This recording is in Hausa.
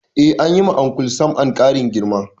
Eh, anyi wa Uncle Sam'an ƙarin girma